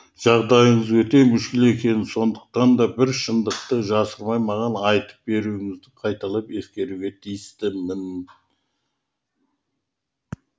жағдайыңыздың өте мүшкіл екенін сондықтан да бар шындықты жасырмай маған айтып беруіңізді қайталап ескертуге тиістімін